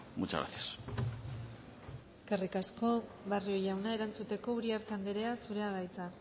muchas gracias eskerrik asko barrio jauna erantzuteko uriarte andrea zurea da hitza